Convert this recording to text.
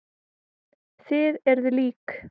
Þið eruð lík.